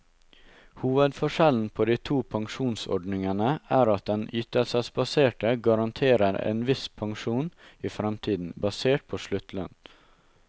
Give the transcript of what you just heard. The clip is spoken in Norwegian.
Hovedforskjellen på de to pensjonsordningene er at den ytelsesbaserte garanterer en viss pensjon i fremtiden, basert på sluttlønn.